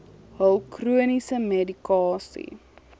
hul chroniese medikasie